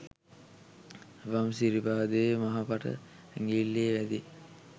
වම් සිරිපාදයේ මහපට ඇඟිල්ලේ වැදී